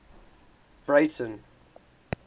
breyten